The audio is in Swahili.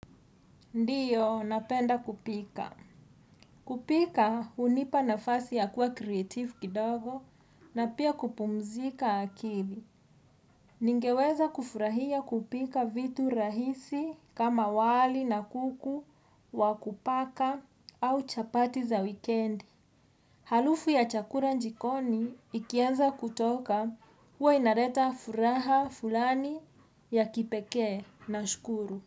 Ndiyo, napenda kupika. Kupika hunipa nafasi ya kuwa creative kidogo na pia kupumzika akili. Ningeweza kufurahia kupika vitu rahisi kama wali na kuku, wakupaka au chapati za wikendi. Harufu ya chakula jikoni ikieza kutoka huwa inaleta furaha fulani ya kipekee nashukuru.